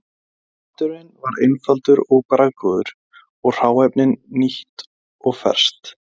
Maturinn var einfaldur og bragðgóður og hráefnið nýtt og ferskt.